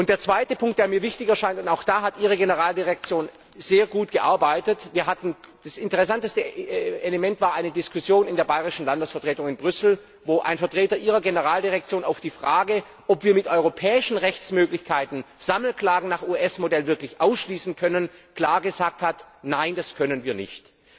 Der zweite Punkt, der mir wichtig erscheint und auch da hat Ihre Generaldirektion sehr gut gearbeitet Das interessanteste Element war eine Diskussion in der bayrischen Landesvertretung in Brüssel, wo ein Vertreter Ihrer Generaldirektion auf die Frage, ob wir mit europäischen Rechtsmöglichkeiten Sammelklagen nach US Modell wirklich ausschließen können, klar gesagt hat Nein, das können wir nicht.